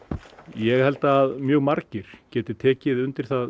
ég held að mjög margir geti tekið undir það